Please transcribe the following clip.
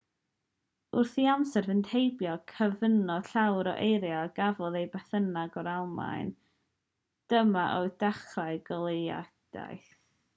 wrth i amser fynd heibio cyfunodd llawer o eiriau a gafodd eu benthyg o'r almaeneg dyma oedd dechrau goleuedigaeth